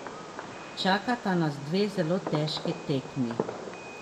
Čakata nas dve zelo težki tekmi.